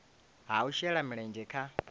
ha u shela mulenzhe kha